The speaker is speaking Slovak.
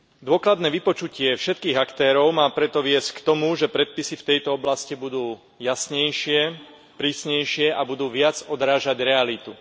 Dôkladné vypočutie všetkých aktérov má preto viesť k tomu, že predpisy v tejto oblasti budú jasnejšie, prísnejšie a budú viac odrážať realitu.